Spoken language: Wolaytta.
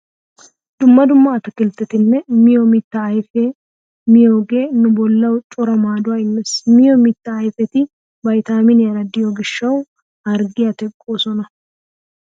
Dumma dumma ataakilttetanne miyo mittaa ayfeta miyogee nu bollawu cora maaduwaa immees. Miyo mittaa ayfeti vaytaaminiyaara de'iyo gishshawu harggiya teqqoosona.